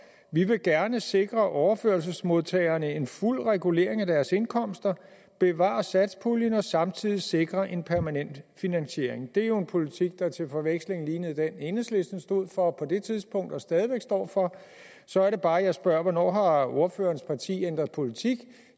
vi vil gerne sikre overførselsmodtagerne en fuld regulering af deres indkomster bevare satspuljen og samtidig sikre en permanent finansiering det er jo en politik der til forveksling lignede den enhedslisten stod for på det tidspunkt og stadig står for så er det bare jeg spørger hvornår har ordførerens parti ændret politik